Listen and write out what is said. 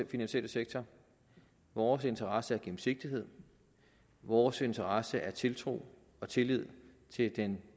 finansielle sektor vores interesse er gennemsigtighed og vores interesse er tiltro og tillid til den